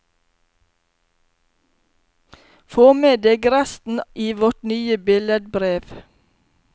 Få med deg resten i vårt nye billedbrev.